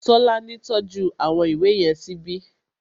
Tọ́lání tọ́jú àwọn ìwé yẹn síbi